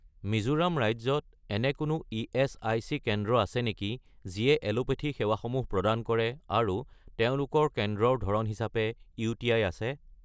মিজোৰাম ৰাজ্যত এনে কোনো ইএচআইচি কেন্দ্ৰ আছে নেকি যিয়ে এলোপেথী সেৱাসমূহ প্ৰদান কৰে আৰু তেওঁলোকৰ কেন্দ্ৰৰ ধৰণ হিচাপে ইউ.টি.আই. আছে?